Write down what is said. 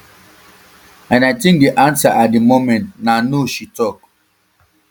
and i think di answer at di moment na no she tok